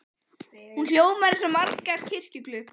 Hún hljómar eins og margar kirkjuklukkur.